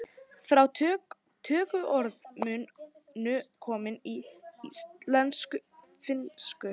Fá tökuorð munu komin í íslensku úr finnsku.